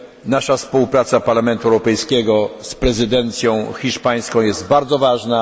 Nasza współpraca, Parlamentu Europejskiego z prezydencją hiszpańską jest bardzo ważna.